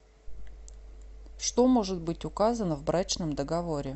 что может быть указано в брачном договоре